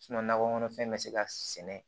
nakɔ kɔnɔfɛn bɛ se ka sɛnɛ